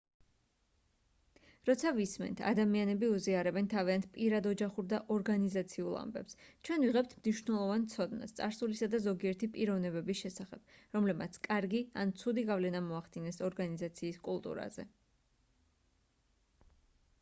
როცა ვისმენთ ადამიანები უზიარებენ თავიანთ პირად ოჯახურ და ორგანიზაციულ ამბებს ჩვენ ვიღებთ მნიშვნელოვან ცოდნას წარსულისა და ზოგიერთი პიროვნებების შესახებ რომლებმაც კარგი ან ცუდი გავლენა მოახდინეს ორგანიზაციის კულტურაზე